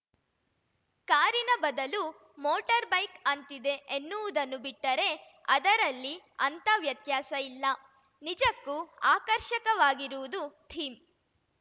ಕಾರಿನ ಬದಲು ಮೋಟರ್‌ಬೈಕ್‌ ಅಂತಿದೆ ಎನ್ನುವುದನ್ನು ಬಿಟ್ಟರೆ ಅದರಲ್ಲಿ ಅಂಥ ವ್ಯತ್ಯಾಸ ಇಲ್ಲ ನಿಜಕ್ಕೂ ಆಕರ್ಷಕವಾಗಿರುವುದು ಥೀಮ್‌